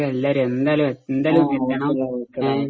okay ഡാ okay ഡാ